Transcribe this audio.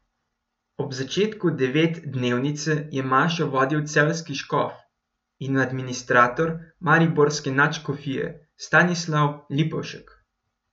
Ob začetku devetdnevnice je mašo vodil celjski škof in administrator mariborske nadškofije Stanislav Lipovšek.